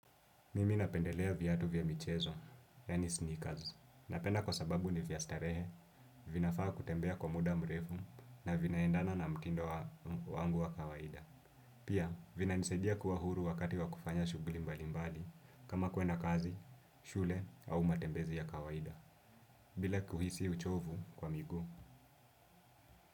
Mimi napendelea viatu vya michezo, yani sneakers. Napenda kwa sababu ni vya starehe, vinafaa kutembea kwa muda mrefu na vinaendana na mtindo wangu wa kawaida. Pia, vinanisadia kuwa huru wakati wa kufanya shughuli mbali mbali kama kwenda kazi, shule au matembezi ya kawaida, bila kuhisi uchovu kwa miguu.